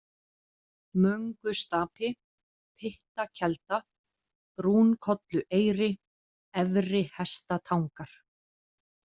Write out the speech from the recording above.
Möngustapi, Pyttakelda, Brúnkollueyri, Efri-Hestatangar